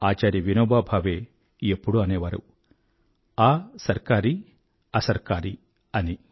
ఆచార్య వినోభా భావే ఎప్పుడూ అనేవారు असरकारी असरकारी అని